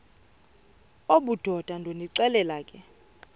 obudoda ndonixelela ke